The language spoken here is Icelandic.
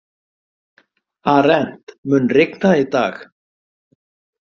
Arent, mun rigna í dag?